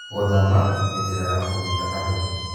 Gũthoma nĩ njĩra ya kũnyita andũ.